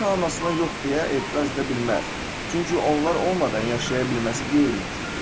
Ata-anasına yox deyə etiraz edə bilməz, çünki onlar olmadan yaşaya bilməsi qeyri-mümkündür.